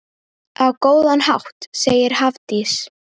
Á góðan hátt, segir Hafdís.